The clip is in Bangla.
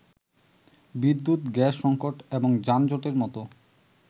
বিদ্যুৎ, গ্যাস সংকট এবং যানজটের মত